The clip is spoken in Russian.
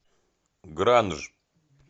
гранж